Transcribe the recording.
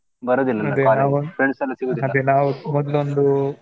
ಮೊದ್ಲೊಂದು,